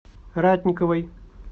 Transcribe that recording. ратниковой